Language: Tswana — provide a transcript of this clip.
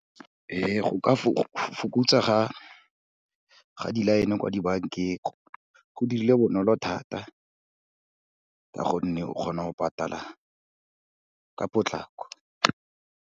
Ee, go ka fokotsa ga di-line-e kwa di-bank-eng, go dirile bonolo thata ka gonne, o kgona go pataal-a ka potlako.